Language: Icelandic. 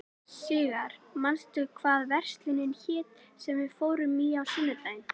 Sigarr, manstu hvað verslunin hét sem við fórum í á sunnudaginn?